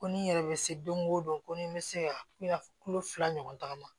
Ko ni yɛrɛ bɛ se don o don ko ni n bɛ se ka kilo fila ɲɔgɔn ta